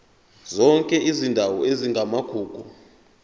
zonke izindawo ezingamagugu